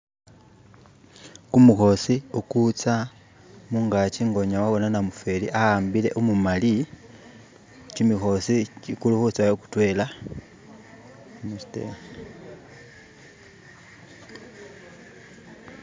kumuhosi ukutsa mugakyi nga unyala wabona namufeli awambile umumali kyimihosi kulihutsawo kutwela